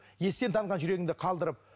естен танған жүрегіңді қалдырып